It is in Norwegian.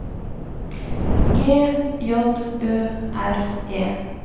G J Ø R E